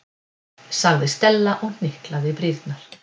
sagði Stella og hnyklaði brýnnar.